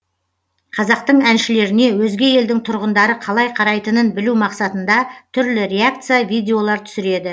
қазақтың әншілеріне өзге елдің тұрғындары қалай қарайтынын білу мақсатында түрлі реакция видеолар түсіреді